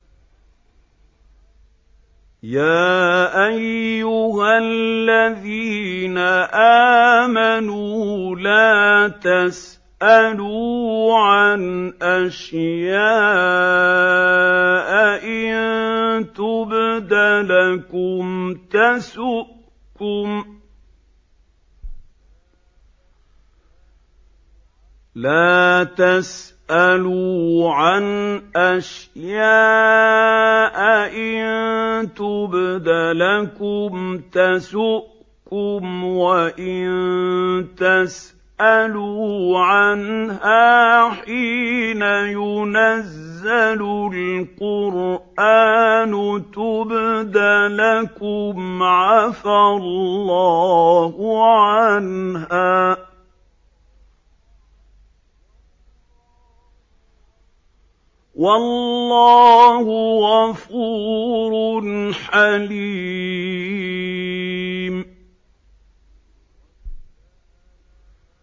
يَا أَيُّهَا الَّذِينَ آمَنُوا لَا تَسْأَلُوا عَنْ أَشْيَاءَ إِن تُبْدَ لَكُمْ تَسُؤْكُمْ وَإِن تَسْأَلُوا عَنْهَا حِينَ يُنَزَّلُ الْقُرْآنُ تُبْدَ لَكُمْ عَفَا اللَّهُ عَنْهَا ۗ وَاللَّهُ غَفُورٌ حَلِيمٌ